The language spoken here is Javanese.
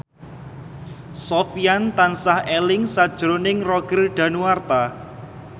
Sofyan tansah eling sakjroning Roger Danuarta